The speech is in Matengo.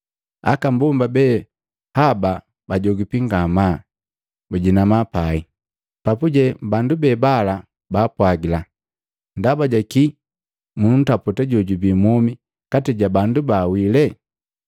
Aka mbomba be haba bajogipi ngamaa, bajinama pai. Papuje bandu be bala baapwagila, “Ndaba jaki ki muntaputa jojubii mwomi kati ja bandu baawile?